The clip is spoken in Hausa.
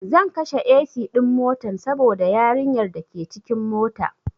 Zan kashe AC ɗin motan saboda yarin yar dake cikin mota